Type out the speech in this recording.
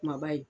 Kumaba ye